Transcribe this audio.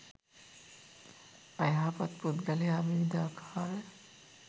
අයහපත් පුද්ගලයා විවිධාකාර